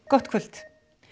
gott kvöld